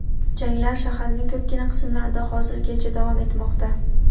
Janglar shaharning ko‘pgina qismlarida hozirgacha davom etmoqda.